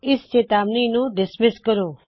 ਇਸ ਚੇਤਾਵਨੀ ਨੂੰ ਰੱਦ ਕਰੋ